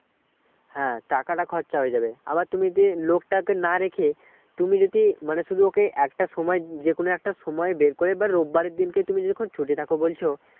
হ্যাঁ টাকাটা খরচা হয়ে যাবে আবার তুমি যদি লোকটাকে না রেখে তুমি যদি মানে শুধু ওকে একটা সময় যে কোনো একটা সময় বের করে বা রোববার এর দিনটা তুমি ছুটি থাকে বলছ